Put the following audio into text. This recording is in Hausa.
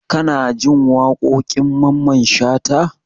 Kanajin waƙoƙin mamman shata?